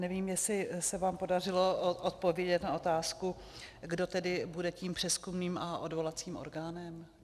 Nevím, jestli se vám podařilo odpovědět na otázku, kdo tedy bude tím přezkumným a odvolacím orgánem?